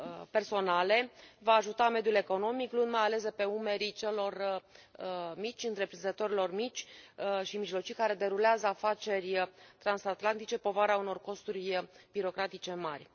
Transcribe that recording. personale va ajuta mediul economic, luând, mai ales de pe umerii celor mici, întreprinzătorilor mici și mijlocii care derulează afaceri transatlantice, povara unor costuri birocratice mari.